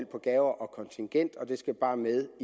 på gaver og kontingent og det skal bare med i